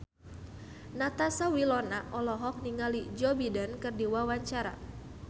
Natasha Wilona olohok ningali Joe Biden keur diwawancara